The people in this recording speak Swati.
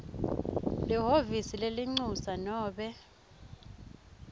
lihhovisi lelincusa nobe